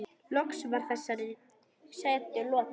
Loks var þessari setu lokið.